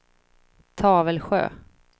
Tavelsjö